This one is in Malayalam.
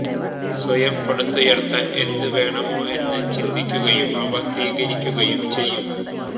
സ്വയം പടുത്തുയർത്താൻ എന്ത് വേണമോ എന്ന് ചിന്തിക്കുകയും അവ സ്വീകരിക്കുകയും ചെയ്യും